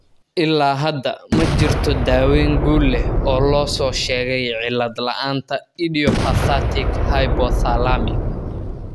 Ilaa hadda, ma jirto daaweyn guul leh oo loo soo sheegay cillad la'aanta idiopathic hypothalamic.